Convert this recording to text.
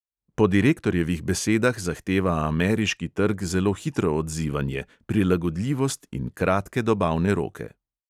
Po direktorjevih besedah zahteva ameriški trg zelo hitro odzivanje, prilagodljivost in kratke dobavne roke.